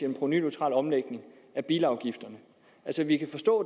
en provenuneutral omlægning af bilafgifterne altså vi kan forstå